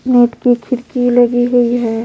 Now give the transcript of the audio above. Net पे खिड़की लगी हुई है।